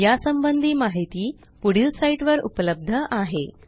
या संबंधी माहिती पुढील साईटवर उपलब्ध आहे